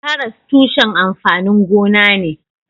Karas tushen amfanin gona ne.